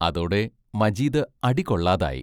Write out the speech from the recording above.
അതോടെ മജീദ് അടി കൊള്ളാതായി.